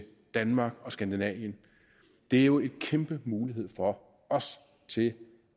danmark og skandinavien det er jo en kæmpe mulighed for os til